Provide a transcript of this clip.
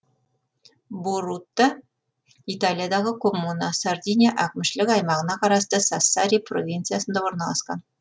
борутта италиядағы коммуна сардиния әкімшілік аймағына қарасты сассари провинциясында орналасқан